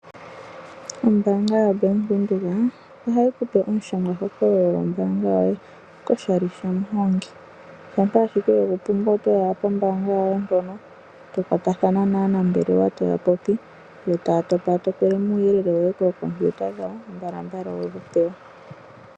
Ombaanga yoBank Windhoek ohayi kupe omushangwa hokololo gombaanga yoye koshali shamuhongi. Shampa ashike wegu pumbwa otoyi owala pombaanga yoye mpono to kwatathana naanambelewa